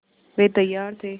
वे तैयार थे